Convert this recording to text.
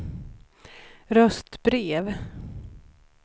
röstbrev